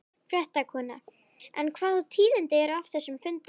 Fréttakona: En hvaða tíðindi eru af þessum fundi?